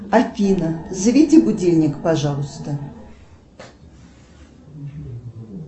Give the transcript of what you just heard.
афина заведи будильник пожалуйста